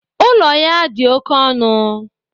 ụlọ ya dị oke ọnụ